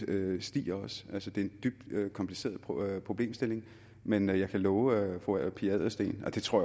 det stiger altså det er en dybt kompliceret problemstilling men jeg kan love fru pia adelsteen og det tror